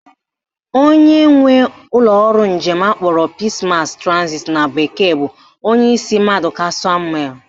Onye nwe ụlọọrụ njem akpọrọ Peace Mass Transit na bekee bụ Onyeishi Mmadụka Samuel